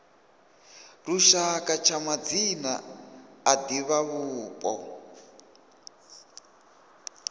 lushaka tsha madzina a divhavhupo